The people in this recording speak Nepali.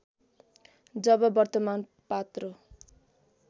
जब वर्तमान पात्रो